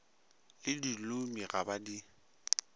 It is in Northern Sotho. le dilomi ga ba di